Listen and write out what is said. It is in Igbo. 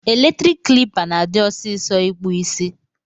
Eletrik klipa na adi ọsisọ ikpụ isi.